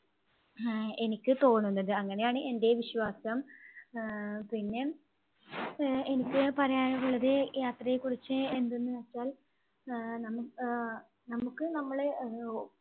ആഹ് എനിക്ക് തോന്നുന്നത്. അങ്ങനെയാണ് എൻറെ വിശ്വാസം. ആഹ് പിന്നെ ആഹ് എനിക്ക് പറയാനുള്ളത് യാത്രയെക്കുറിച്ച് എന്തെന്നുവെച്ചാൽ ആഹ് നമു ആഹ് നമുക്ക് നമ്മളെ